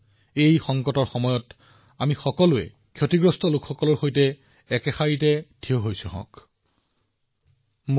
আমি সকলোৱে এই কঠিন সময়তো দৃঢ়তাৰে থিয় দিছো সেইসকলৰ সৈতে যিসকলে এই দুৰ্যোগত ক্ষতিৰ সন্মুখীন হৈছে